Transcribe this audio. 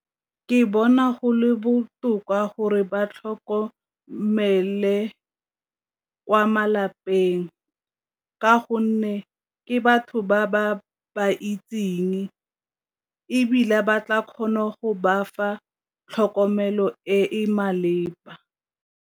Ke bona go le botoka gore ba tlhokomele kwa malapeng ka gonne ke batho ba ba ba itseng ebile ba tla kgona go ba fa tlhokomelo e e maleba.